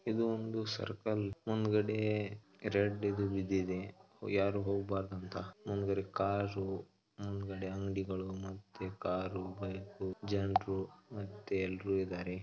ಇದು ಒಂದು ಸರ್ಕಲ್ ಮುಂದಗಡೆ ರೆಡ್ ಇದು ಬಿದ್ದಿದೆ ಯಾರು ಹೋಗಬಾರದು ಅಂತ ಮುಂದಗಡೆ ಕಾರ್ ಮುಂದಗಡೆ ಅಂಗಡಿಗಳು ಮತ್ತೆ ಕಾರ್ ಬೈಕ್ ಜನರು ಮತ್ತೆ ಎಲ್ಲರೂ ಇದಾರೆ .